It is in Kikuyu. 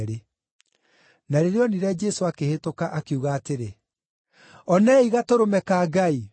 Na rĩrĩa onire Jesũ akĩhĩtũka, akiuga atĩrĩ, “Onei Gatũrũme ka Ngai!”